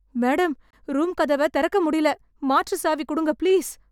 Madam, room கதவ திறக்க முடியல... மாற்று சாவி குடுங்க ப்ளீஸ்.